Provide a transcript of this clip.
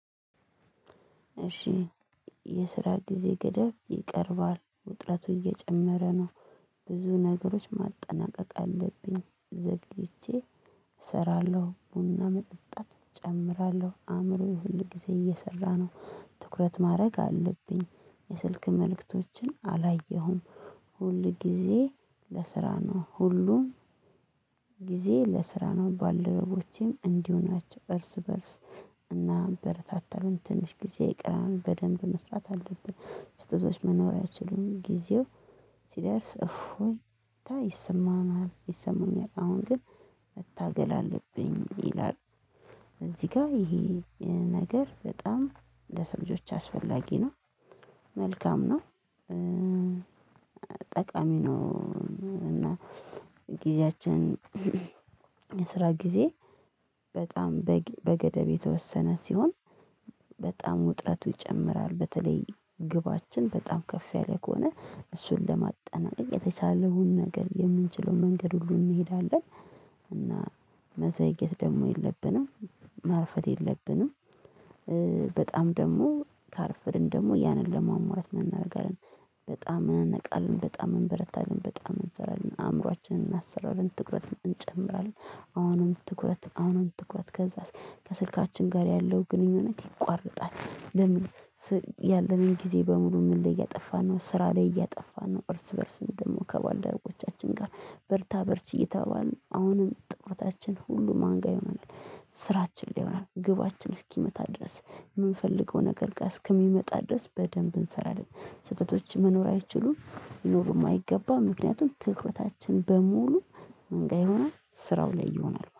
እሺ የስራ ጊዜ ገደብ ይቀርባል ውጥረቱ እየጨመረ ነው። ብዙ ነገሮች ማጠናቀቅ አለብኝ ዘግይቼ። እሰራለሁ ቡና መጠጣት እጨምራለሁ አእምሮዬ ሁል ጊዜ እየሰራ ነው። ትኩረት ማድረግ አለብኝ የስልክ መልእክቶችን አላየሁም። ሁል ጊዜ ለስራ ነው ሁሉን። ግዜ ለስራ ነው ባልደረቦቼም እንዲሁ ናቸው እርስ በርስ። እናበረታተለን ትንሽ ጊዜ ይቅራል በደንብ መስራት አለብን። ስጦታዎች መኖሪያ ይችሉን ጊዜው። ሲደርስ እፎይታ ይሰማናል ይሰማኛል አሁን ግን መታገል አለብኝ ይላል። ጋር ይሄ ነገር በጣም ለሰው ልጆች አስፈላጊ ነው። መልካም ነው። ጠቃሚ ነው እና ጊዜያችን የስራ ጊዜ በጣም በገደብ የተወሰነ ሲሆን። በጣም ውጥረቱ ይጨምራል በተለይ ግባችን በጣም ከፍ ያለ ከሆነ እሱን ለማጠናቀቅ የተቻለውን ነገር የምንችለውን መንገድ ሁሉ እንሄዳለን። እና መዘግየት ደግሞ የለብንም። ማርፈድ የለብንም። በጣም ደግሞ ካረፈድን ደግሞ ያንን ለሟሟላት ምን እናረጋለን? በጣም እንነቃለን በጣም እንበረታለን በጣም እንሰራለን አእምሮአችንን እናሰራለን ትኩረት እንጨምራለን። አሁንም ትኩረት አሁንም ትኩረት ከዛስ ከስልካችን ጋር ያለው ግንኙነት ይቋረጣል። ለምን? ያለንን ጊዜ በሙሉ ምን ላይ እያጠፋን ነው ስራ ላይ እያጠፋን ነው። እርስ በእርስ ደግሞ ከባልደረቦቻችን ጋር በርታ በርች እየተባባልን አሁንም ትኩረታችን ሁሉ ማን ጋር ይሆናል ስራችን ላይ ሊሆን ይችላል። ግባችን እስኪመታ ድረስ የምንፈልገው ነገር ጋር እስኪመጣ ድረስ በደንብ እንሰራለን። ስህተቶች መኖር አይችሉም ይኖሩ የማይገባ ምክንያቱም ትኩረታችን በሙሉ ምን ጋ ይሆናል ስራው ላይ ይሆናል